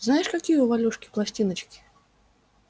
знаешь какие у валюшки пластиночки